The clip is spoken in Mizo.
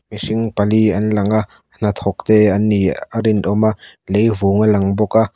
mihring pali an lang a hnathawk te an nih a rin awm a lei vung a lang bawk a.